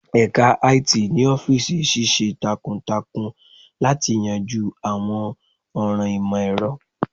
Ẹka IT ni ọfiisi ṣiṣẹ takuntakun lati yanju awọn ọran imọ-ẹrọ.